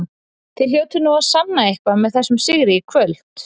Þið hljótið nú að sanna eitthvað með þessum sigri í kvöld?